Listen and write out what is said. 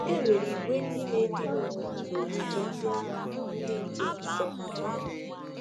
E nwere ìgwè ndị na-edina onwe ha n’ogige ndị ágha dị nke m nsó.